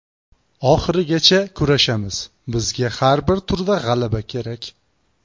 Oxirigacha kurashamiz, bizga har bir turda g‘alaba kerak.